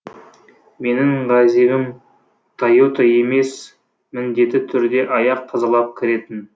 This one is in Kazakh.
менің газигім тойота емес міндетті түрде аяқ тазалап кіретін